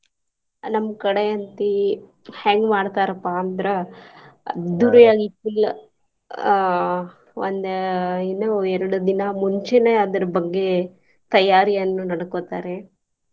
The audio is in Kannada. ನಮ್ಮ್ ಕಡೆ ಅಂತಿ ಹೆಂಗ್ ಮಾಡ್ತಾರಪಾ ಅಂದ್ರ ಅದ್ದೂರಿಯಾಗಿ full ಆಹ್ ಒಂದ ಇನ್ನ ಎರ್ಡ ದಿನಾ ಮುಂಚೆನೆ ಅದರ ಬಗ್ಗೆ ತಯಾರಿಯನ್ನು ಮಾಡ್ಕೊತಾರೆ.